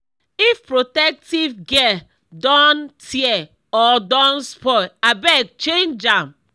if protective gear don tear or don spoil abeg change am.